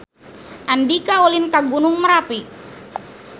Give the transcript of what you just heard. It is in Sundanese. Andika ulin ka Gunung Merapi